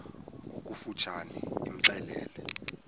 ngokofu tshane imxelele